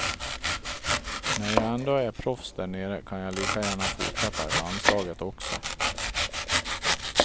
När jag ändå är proffs där nere kan jag lika gärna fortsätta i landslaget också.